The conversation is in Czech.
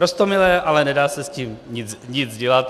Roztomilé, ale nedá se s tím nic dělat.